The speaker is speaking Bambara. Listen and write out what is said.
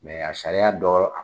a sariya dɔ